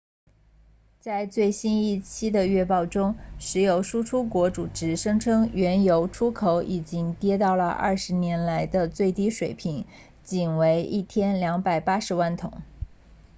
在最新一期的月报中石油输出国组织声称原油出口已经跌到了二十年来的最低水平仅为一天280万桶